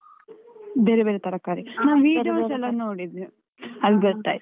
ಬೇರೆ ಬೇರೆ ತರಕಾರಿ. ನಾನ್ videos ಎಲ್ಲ ನೋಡಿದೆ ಅಲ್ ಗೊತ್ತಾಯ್ತು.